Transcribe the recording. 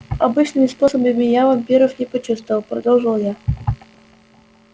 обычными способами я вампиров не почувствовал продолжил я